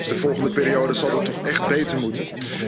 De volgende periode zal dat toch echt beter moeten.